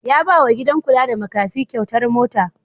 Ya ba wa gidan kula da makafi kyautar mota.